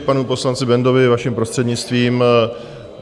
K panu poslanci Bendovi, vaším prostřednictvím.